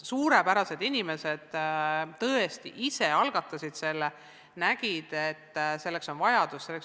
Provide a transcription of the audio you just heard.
Suurepärased inimesed, tõesti, nad ise algatasid selle kooli, sest nägid, et selleks on vajadus.